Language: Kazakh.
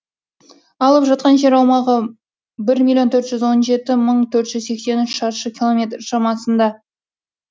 алып жатқан жер аумағы бір миллион төрт жүз он жеті мың төрт жүз сексен үш шаршы километр шамасында